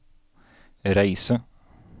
reise